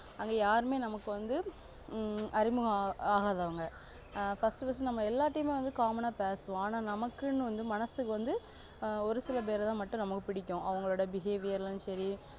அங்க யாருமே நமக்கு வந்து ஆஹ் அறிமுக ஆகாதவங்க ஆஹ் first first நம்ம எல்லார்டிமே வந்து common ஆ பேசுவோம் ஆனா நமக்குன்னு வந்து மனசுக்கு வந்து ஒரு சில பெறத்தா நமக்கு பிடிக்கும் அவங்களோட behaviour லா சரி